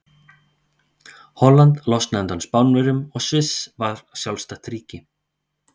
Holland losnaði undan Spánverjum og Sviss varð sjálfstætt ríki.